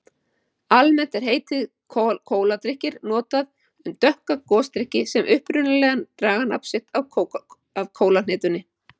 Almennt er heitið kóladrykkir notað um dökka gosdrykki sem upprunalega draga nafn sitt af kólahnetunni.